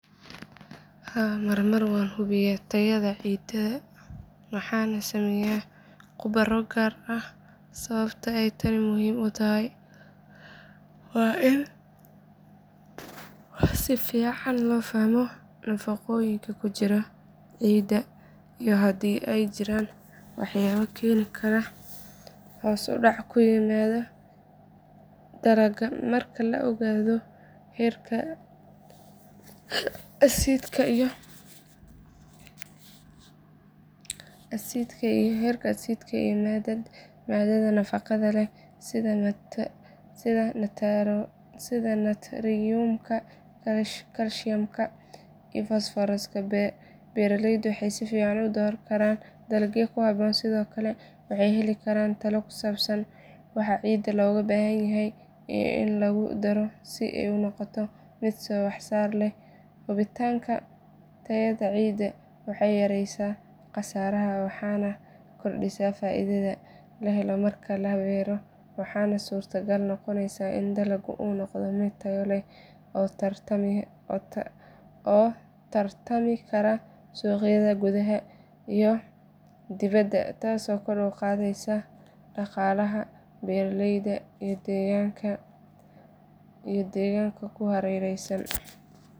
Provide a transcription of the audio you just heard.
Haa marmar waan hubiyaa tayada ciidda waxaana sameeya khubaro gaar ah sababta ay tani muhiim u tahay waa in si fiican loo fahmo nafaqooyinka ku jira ciidda iyo haddii ay jiraan waxyaabo keeni kara hoos u dhac ku yimaada dalagga marka la ogaado heerka asiidhka iyo maadada nafaqada leh sida naatriyoomka kaalshiyamka iyo fosfooraska beeralaydu waxay si fiican u dooran karaan dalagga ku habboon sidoo kale waxay heli karaan talo ku saabsan waxa ciidda looga baahanyahay in lagu daro si ay u noqoto mid wax soo saar leh hubinta tayada ciidda waxay yareysaa khasaaraha waxayna kordhisaa faa’iidada la helo marka la beero waxaana suuragal noqonaya in dalagga uu noqdo mid tayo leh oo la tartami kara suuqyada gudaha iyo dibadda taasoo kor u qaadaysa dhaqaalaha beeraleyda iyo deegaanka ku hareeraysan.